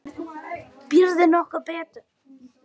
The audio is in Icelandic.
Býður nokkur betur?